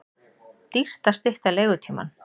Dýrt að stytta leigutímann